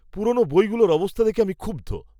পুরনো বইগুলির অবস্থা দেখে আমি ক্ষুব্ধ।